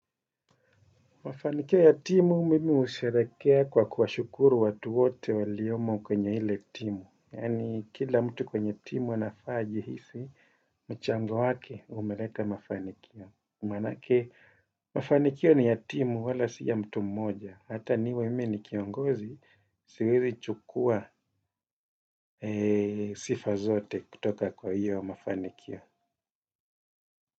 Mafanikio ya timu mimi husherehekea kwa kuwashukuru watu wote waliomo kwenye ile timu. Yaani kila mtu kwenye timu anafaa ajihisi mchango wake umeleta mafanikio. Maanake mafanikio ni ya timu wala si ya mtu mmoja. Hata niwe mimi ni kiongozi siwezi chukua sifa zote kutoka kwa hiyo mafanikio.